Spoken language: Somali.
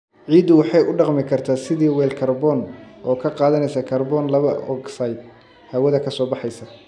Ciiddu waxay u dhaqmi kartaa sidii weel kaarboon, oo ka qaadanaysa kaarboon laba ogsaydh hawada ka soo baxaysa.